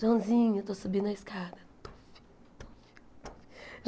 Joãozinho, eu estou subindo a escada. Tufi tufi tufi